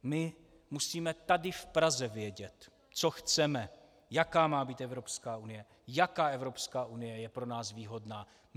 My musíme tady v Praze vědět, co chceme, jaká má být Evropská unie, jaká Evropská unie je pro nás výhodná.